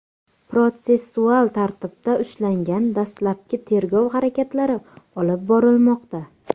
protsessual tartibda ushlangan, dastlabki tergov harakatlari olib borilmoqda.